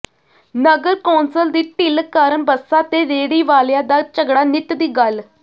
ਨਗਰ council ਦੀ ਢਿੱਲ ਕਾਰਨ ਬੱਸਾਂ ਤੇ ਰੇਹੜੀ ਵਾਲਿਆਂ ਦਾ ਝਗੜਾ ਨਿੱਤ ਦੀ ਗੱਲ